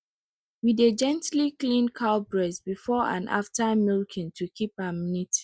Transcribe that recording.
we dey gently clean cow breast before and after milking to keep am neat